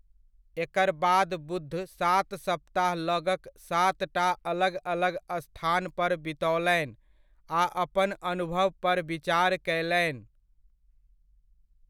एकर बाद बुद्ध सात सप्ताह लगक सातटा अलग अलग स्थान पर बितओलनि आ अपन अनुभव पर विचार कयलनि।